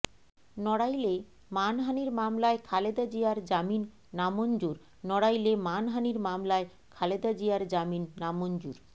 নড়াইলে মানহানির মামলায় খালেদা জিয়ার জামিন নামঞ্জুর নড়াইলে মানহানির মামলায় খালেদা জিয়ার জামিন নামঞ্জুর